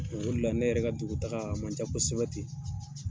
Ole la ne yɛrɛ ka dugutaga, a man ca kosɛbɛ ten.